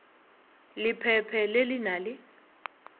lephephe le le na le